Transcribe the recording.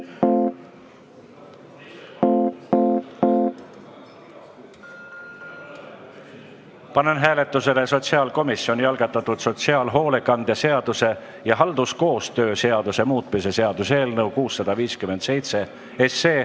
Panen hääletusele sotsiaalkomisjoni algatatud sotsiaalhoolekande seaduse ja halduskoostöö seaduse muutmise seaduse eelnõu 657.